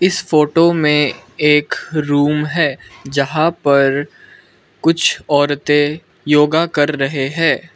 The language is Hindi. इस फोटो में एक रूम है जहां पर कुछ औरतें योगा कर रहे हैं।